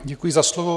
Děkuji za slovo.